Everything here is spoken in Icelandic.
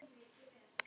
Ég get lítið gert.